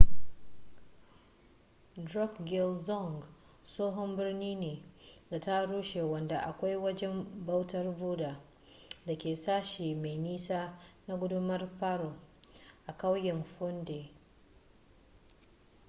drukgyal dzong tsohon birni ne da ya rushe wanda akwai wajen bautar buddha da ke sashi mai nisa na gundumar paro a ƙauyen phondey